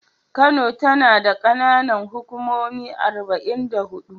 Kano tana da ƙananan hukumomi arba'in da huɗu.